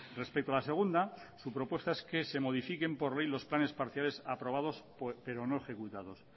respecto a la segunda su propuesta es que se modifiquen por ley los planes parciales aprobados pero no ejecutados